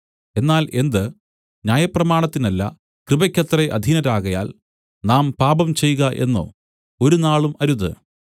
എന്നാൽ എന്ത് ന്യായപ്രമാണത്തിനല്ല കൃപയ്ക്കത്രേ അധീനരാകയാൽ നാം പാപം ചെയ്ക എന്നോ ഒരുനാളും അരുത്